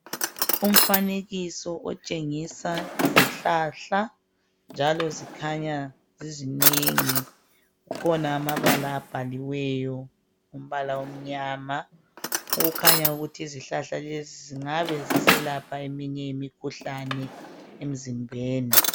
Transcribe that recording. Umfanekiso otshengisa izihlahla njalo zikhanya zizinengi .Kukhona amabala abhaliweyo ngombala omnyama okukhanya ukuthi izihlahla lezi zingabe ziselapha eminye imikhuhlane emzimbeni.